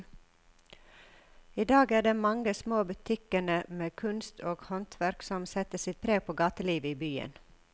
I dag er det de mange små butikkene med kunst og håndverk som setter sitt preg på gatelivet i byen.